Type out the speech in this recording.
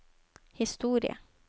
historie